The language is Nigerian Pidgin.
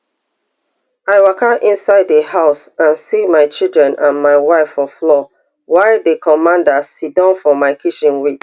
i waka inside di house and see my children and my wife for floor while di commander siddon for my kitchen wit